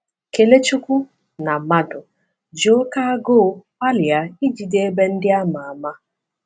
Kelechukwu na Madu ji oké agụụ gbalịa ijide ebe ndị a ma ama.